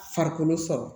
Farikolo sɔrɔ